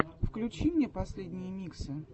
включи мне последние миксы